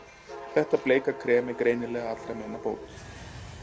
Þetta bleika krem var greinilega allra meina bót.